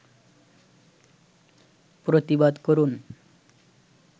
প্রতিবাদ করুন